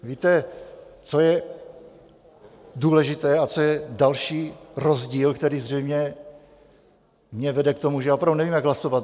Víte, co je důležité a co je další rozdíl, který zřejmě mě vede k tomu, že já opravdu nevím, jak hlasovat?